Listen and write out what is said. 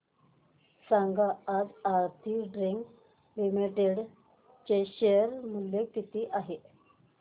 सांगा आज Aarti drugs limited चे शेअर मूल्य किती आहे